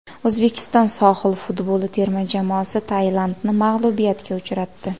O‘zbekiston sohil futboli terma jamoasi Tailandni mag‘lubiyatga uchratdi.